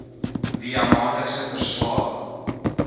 via maandelikse verslae